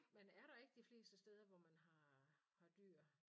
Men er der ikke de fleste steder hvor man har har dyr